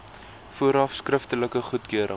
vooraf skriftelike goedkeuring